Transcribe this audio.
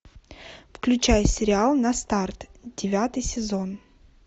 включай сериал на старт девятый сезон